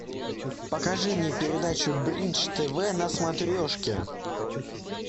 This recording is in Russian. покажи мне передачу бридж тв на смотрешке